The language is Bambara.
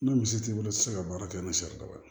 Ni misi t'i bolo i tɛ se ka baara kɛ ni sari daba ye